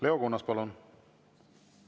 Leo Kunnas, palun!